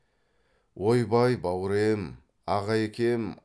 ойбай бауре е м аға екем